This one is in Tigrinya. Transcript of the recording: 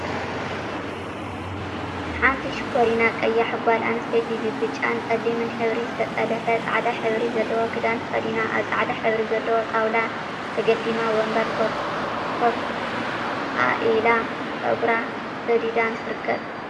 ሓንቲ ሽኮሪና ቀያሕ ጋል ኣንስተይቲ ብብጫን ጸሊምን ሕብሪ ዝተጠለፈ ጻዕዳ ሕብሪ ዘለዎ ክዳን ተከዲና ኣብ ጻዕዳ ሕብሪ ዘለዎ ጣውላ ተገዳሚ ወንበር ኮፍ ኣኢላ ጸጉራ ስዲዳን ትርከብ።